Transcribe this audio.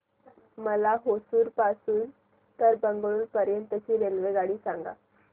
मला होसुर पासून तर बंगळुरू पर्यंत ची रेल्वेगाडी सांगा